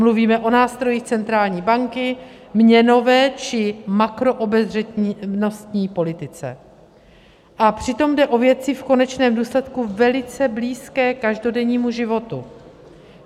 Mluvíme o nástrojích centrální banky, měnové či makroobezřetnostní politice, a přitom jde o věci v konečném důsledku velice blízké každodennímu životu.